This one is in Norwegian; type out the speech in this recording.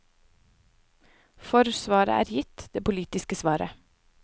For svaret her er gitt, det politiske svaret.